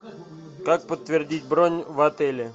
как подтвердить бронь в отеле